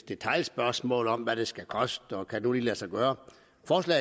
detailspørgsmål om hvad det skal koste og kan lade sig gøre